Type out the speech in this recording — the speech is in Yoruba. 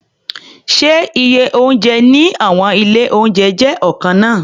Ṣé iye oúnjẹ ní àwọn ilé-oúnjẹ jẹ́ ọ̀kan náà?